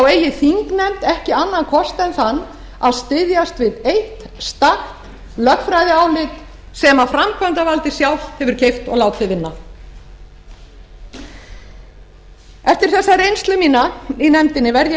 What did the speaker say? eigi þingnefnd ekki annan kost en þann að styðjast við eitt stakt lögfræðiálit sem framkvæmdarvaldið sjálft hefur keypt og látið vinna eftir þessa reynslu mína í nefndinni verð ég að